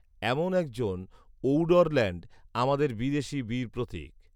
এমন একজন ঔডরল্যান্ড, আমাদের বিদেশী বীরপ্রতীক